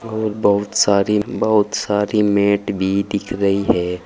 और बहुत सारी बहुत सारी मैट भी दिख रही है।